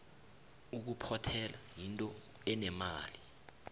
ukuphothela yinto enemali